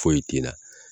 Foyi kinna